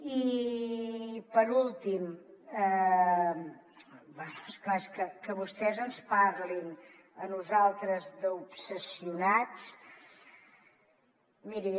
i per últim bé és clar que vostès ens parlin a nosaltres d’obsessionats miri